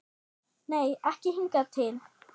Nei, ekki hingað til.